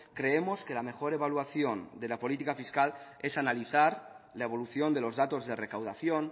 creemos que la mejor evaluación de la política fiscal es analizar la evolución de los datos de recaudación